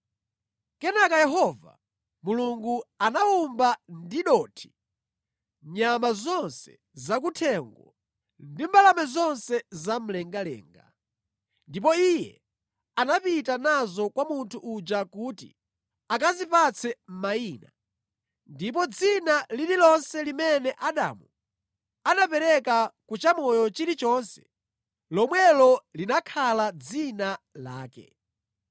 Kenaka Yehova Mulungu anawumba ndi dothi nyama zonse zakuthengo ndi mbalame zonse zamlengalenga. Ndipo Iye anapita nazo kwa munthu uja kuti akazipatse mayina; ndipo dzina lililonse limene Adamu anapereka ku chamoyo chilichonse, lomwelo linakhala dzina lake.